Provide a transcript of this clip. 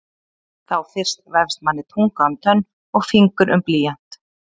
Þá fyrst vefst manni tunga um tönn og fingur um blýant.